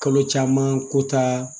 Kalo caman ko taa